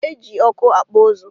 Eji ọkụ akpụ ụzụ